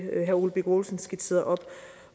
herre ole birk olesen skitserede op